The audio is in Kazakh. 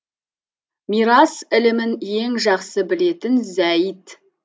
мирас ілімін ең жақсы білетін зәйід